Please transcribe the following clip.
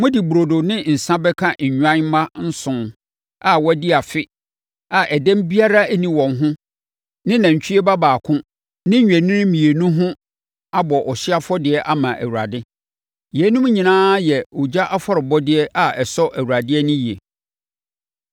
Mode burodo ne nsã bɛka nnwan mma nson a wɔadi afe a ɛdɛm biara nni wɔn ho ne nantwie ba baako ne nnwennini mmienu ho abɔ ɔhyeɛ afɔdeɛ ama Awurade. Yeinom nyinaa yɛ ogya afɔrebɔdeɛ a ɛsɔ Awurade ani yie.